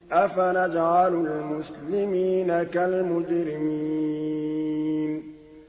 أَفَنَجْعَلُ الْمُسْلِمِينَ كَالْمُجْرِمِينَ